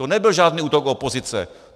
To nebyl žádný útok opozice.